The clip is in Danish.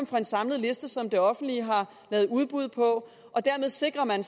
fra en samlet liste som det offentlige har lavet udbud på dermed sikrer man